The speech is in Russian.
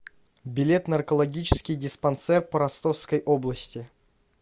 билет наркологический диспансер по ростовской области